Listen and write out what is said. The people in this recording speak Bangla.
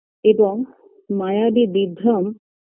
এবং মায়াবী বিভ্রম